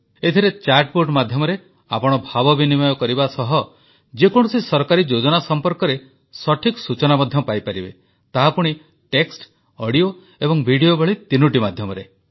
ଏଥିରେ chatbot ମାଧ୍ୟମରେ ଆପଣ ଭାବ ବିନିମୟ କରିବା ସହ ଯେକୌଣସି ସରକାରୀ ଯୋଜନା ସମ୍ପର୍କରେ ସଠିକ ସୂଚନା ମଧ୍ୟ ପାଇପାରିବେ ତାହା ପୁଣି ଟେକ୍ସ୍ଟ ଅଡିଓ ଏବଂ ଭିଡିଓ ଭଳି ତିନୋଟି ମାଧ୍ୟମରେ